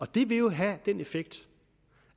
det vil jo have den effekt